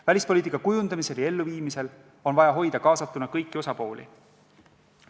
Välispoliitika kujundamisel ja elluviimisel on vaja hoida kaasatuna kõiki osapooli.